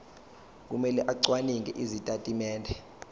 kumele acwaninge izitatimende